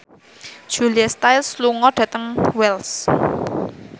Julia Stiles lunga dhateng Wells